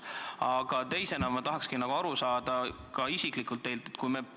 Aga teiseks tahan küsida isiklikult teilt niisugust asja.